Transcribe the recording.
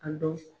A dɔn